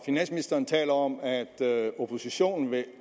finansministeren taler om at oppositionen vil